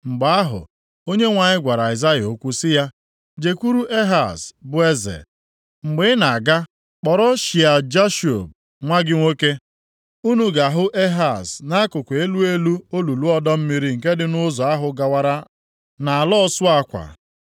Mgbe ahụ, Onyenwe anyị gwara Aịzaya okwu sị ya, “Jekwuru Ehaz bụ eze. Mgbe ị na-aga, kpọrọ Shịa-Jashub nwa gị nwoke. Unu ga-ahụ Ehaz nʼakụkụ Elu elu olulu ọdọ mmiri nke dị nʼụzọ ahụ gawara nʼAla ọsụ akwa.